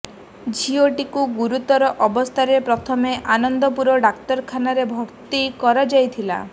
ଝିଅଟିକୁ ଗୁରୁତର ଅବସ୍ଥାରେ ପ୍ରଥମେ ଆନନ୍ଦପୁର ଡାକ୍ତରଖାନାରେ ଭର୍ତ୍ତି କରାଯାଇଥିଲା